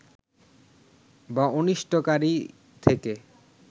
বা অনিষ্টকারী থেকে